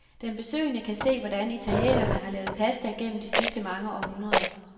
Den besøgende kan se, hvordan italienerne har lavet pasta gennem de sidste mange århundreder.